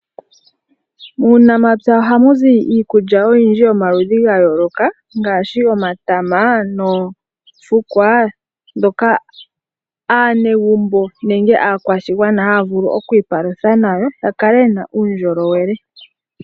Muunamapya ohamu zi iikulya oyindji yomaudji ga yooloka ngaashi omatama noofukwa, dhoka aanegumbo nenge aakwashigwana haya vulu okwiipalutha nayo. Ya kale yena uundjolowele.